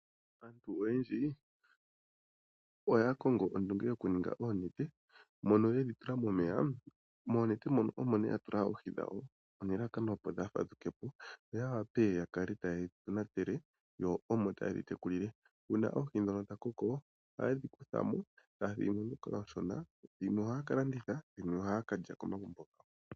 Aantu oyendji oya kongo ondunge yokuninga oonete, mono yedhi tula momeya. Moonete moka omo nee yatula oohi dhawo, nelalakano opo dhaafadhukepo, yo yawape yakale taye dhi tonatele, yo omo tayedhi tekulile. Uuna oohi ndhono dhakoko, ohayedhi kuthamo, taya thigimo ndhoka oonshona. Dhimwe ohaya kalanditha, dhimwe ohaya kalya komagumbo gawo.